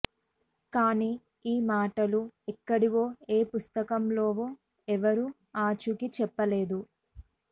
కానీ ఈ మాటలు ఎక్కడివో ఏ పుస్తకంలోవో ఎవరూ ఆచూకీ చెప్పలేదు